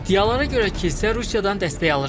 İddialara görə kilsə Rusiyadan dəstək alır.